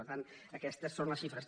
per tant aquestes són les xifres